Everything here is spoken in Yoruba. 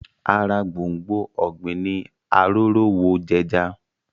Ara gbòngbò ọ̀gbìn ní Arórówojẹja